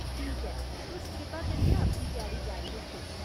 ठीक ऐ, तुस कृपा करियै अपनी त्यारी जारी रक्खो।